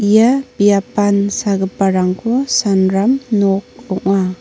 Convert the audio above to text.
ia biapan sagiparangko sanram nok ong·a.